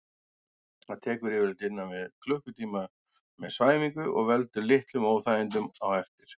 Það tekur yfirleitt innan við klukkutíma með svæfingu og veldur litlum óþægindum á eftir.